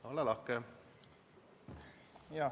Ole lahke!